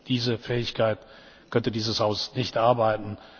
Ohne diese Fähigkeit könnte dieses Haus nicht arbeiten.